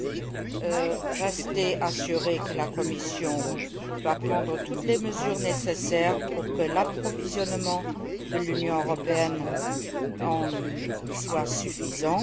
Soyez certains que la Commission prendra toutes les mesures nécessaires pour que l'approvisionnement de l'Union européenne soit suffisant.